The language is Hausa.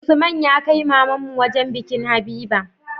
Usman ya kai mamanmu wajan bikin habiba